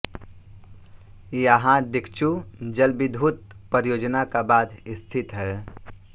यहाँ दिक्चु जलविद्युत परियोजना का बाँध स्थित है